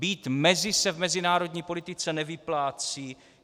Být mezi se v mezinárodní politice nevyplácí.